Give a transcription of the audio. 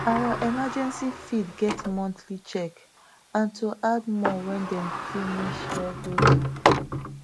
our emergency feed plan get monthly check and to add more when dem finish regular